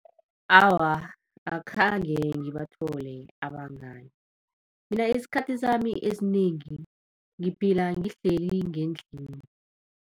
Awa, akhange ngibathole abangani. Mina isikhathi sami esinengi ngiphila ngihleli ngendlini.